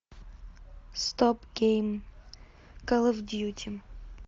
стоп гейм кол оф дьюти